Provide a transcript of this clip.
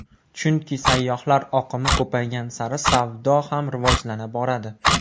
Chunki sayyohlar oqimi ko‘paygan sari savdo ham rivojlana boradi.